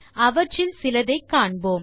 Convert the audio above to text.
அவற்றில் சிலதை காண்போம்